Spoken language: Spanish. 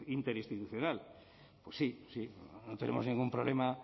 interinstitucional pues sí sí no tenemos ningún problema